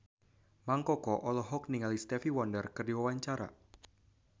Mang Koko olohok ningali Stevie Wonder keur diwawancara